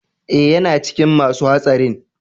Eh, yana cikin ma su hatsarin.